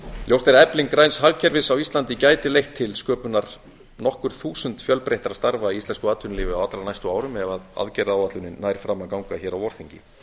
ljóst er að efling græns hagkerfis á íslandi gæti leitt til sköpunar nokkur þúsund fjölbreyttari starfa í íslensku atvinnulífi á allra næstu árum ef aðgerðaáætlunin nær fram að ganga hér á vorþingi